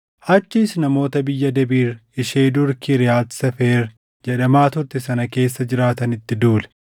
Achiis namoota biyya Debiir ishee dur Kiriyaati Seefer jedhamaa turte sana keessa jiraatanitti duule.